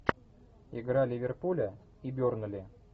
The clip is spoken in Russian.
игра ливерпуля и бернли